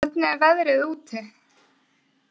Britta, hvernig er veðrið úti?